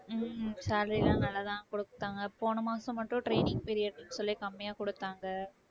உம் salary எல்லாம் நல்லாதான் கொடுத்தாங்க போன மாசம் மட்டும் training period ன்னு சொல்லி கம்மியா கொடுத்தாங்க.